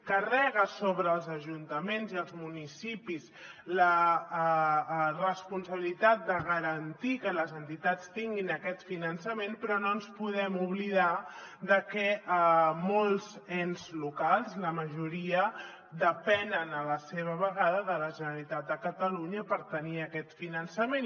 carrega sobre els ajuntaments i els municipis la responsabilitat de garantir que les entitats tinguin aquest finançament però no podem oblidar de que molts ens locals la majoria depenen a la vegada de la generalitat de catalunya per tenir aquest finançament